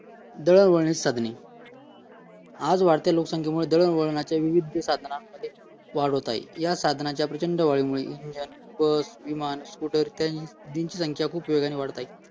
दळणवळणाची साधने आज वाढत्या लोकसंख्येमुळे दळवणाच्या विविध साधने वाढ होत आहे या साधनाचा प्रचंड वाढीमुळे बस विमान स्कूटर ट्रेन डिझेल खूप प्रमाणात वाढत आहे